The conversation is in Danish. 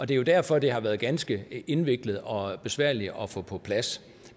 det er jo derfor det har været ganske indviklet og besværligt at få på plads